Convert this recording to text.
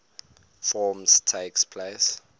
forms takes place